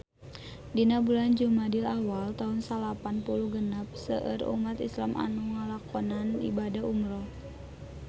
Dina bulan Jumadil awal taun salapan puluh genep seueur umat islam nu ngalakonan ibadah umrah